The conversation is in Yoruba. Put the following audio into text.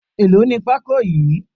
Èlò ní pako yìí?